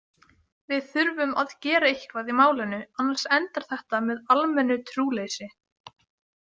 Við þurfum að gera eitthvað í málinu annars endar þetta með almennu trúleysi.